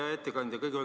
Hea ettekandja!